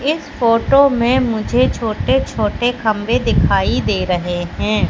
इस फोटो में मुझे छोटे-छोटे खंभे दिखाई दे रहे हैं।